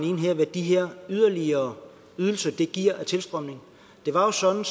ind her hvad de her yderligere ydelser giver af tilstrømning det var jo sådan